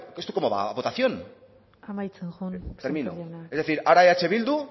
esto cómo va a votación amaitzen joan termino es decir ahora eh bildu